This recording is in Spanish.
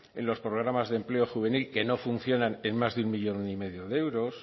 en los programas de empleo juvenil que no funcionan en más de un uno coma cinco millón de euros